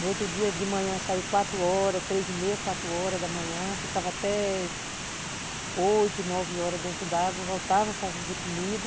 No outro dia, de manhã, saíamos quatro horas, três e meia, quatro horas da manhã, ficávamos até oito, nove horas dentro d'água, voltava para fazer comida.